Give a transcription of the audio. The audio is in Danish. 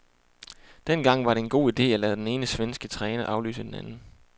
Dengang var det en god ide at lade den ene svenske træner afløse den anden.